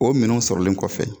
O minɛnw sɔrɔlen kɔfɛ